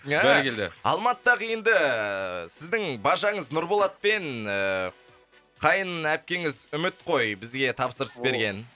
бәрекелді алматыдағы енді сіздің бажаңыз нұрболат пен ііі қайын әпкеңіз үміт қой бізге тапсырыс берген